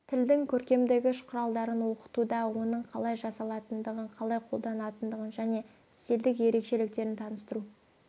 тілдің көркемдегіш құралдарын оқытуда оның қалай жасалатындығын қалай қолданылатындығын және стильдік ерекшеліктерін таныстыру